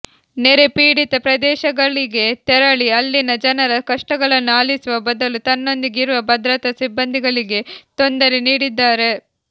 ನೆರೆ ಪೀಡಿತ ಪ್ರದೇಶಗಳಿಗೆ ತೆರಳಿ ಅಲ್ಲಿನ ಜನರ ಕಷ್ಟಗಳನ್ನು ಆಲಿಸುವ ಬದಲು ತನ್ನೊಂದಿಗೆ ಇರುವ ಭದ್ರತಾ ಸಿಬಂದಿಗಳಿಗೆ ತೊಂದರೆ ನೀಡಿದ್ದಾರೆ